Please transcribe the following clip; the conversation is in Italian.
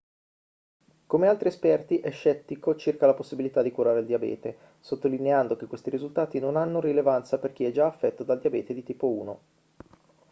come altri esperti è scettico circa la possibilità di curare il diabete sottolineando che questi risultati non hanno rilevanza per chi è già affetto dal diabete di tipo 1